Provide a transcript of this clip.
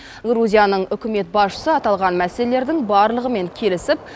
грузияның үкімет басшысы аталған мәселелердің барлығымен келісіп